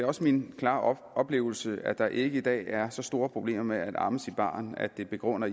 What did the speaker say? også min klare oplevelse at der ikke i dag er så store problemer med at amme sit barn at det begrunder